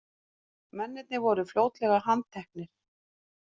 Mennirnir voru fljótlega handteknir